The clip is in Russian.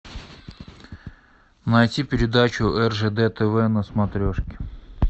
найти передачу ржд тв на смотрешке